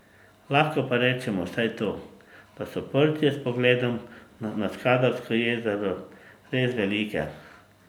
Lahko pa rečemo vsaj to, da so porcije s pogledom na Skadarsko jezero res velike.